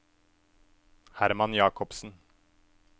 Herman Jakobsen